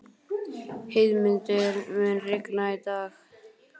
Heiðmundur, mun rigna í dag?